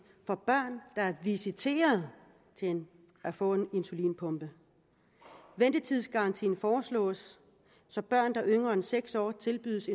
for børn der er visiteret til at få en insulinpumpe ventetidsgarantien foreslås så børn der er yngre end seks år tilbydes